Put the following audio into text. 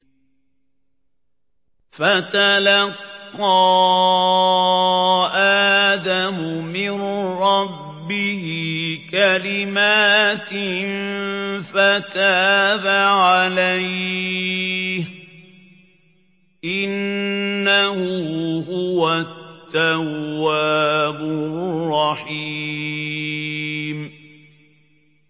فَتَلَقَّىٰ آدَمُ مِن رَّبِّهِ كَلِمَاتٍ فَتَابَ عَلَيْهِ ۚ إِنَّهُ هُوَ التَّوَّابُ الرَّحِيمُ